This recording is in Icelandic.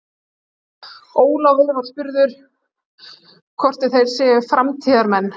Ólafur var spurður hvort þeir séu framtíðarmenn?